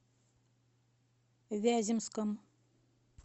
вяземском